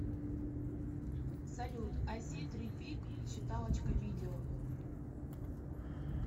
салют айситрипик считалочка видео